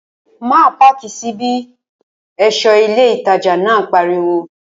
Má páàkì sí bí! ẹ̀ṣọ́ ilé ìtajà náà pariwo